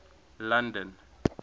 london